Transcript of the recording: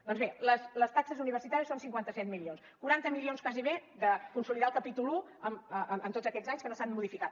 doncs bé les taxes universitàries són cinquanta set milions quaranta milions gairebé de consolidar el capítol un en tots aquests anys que no s’han modificat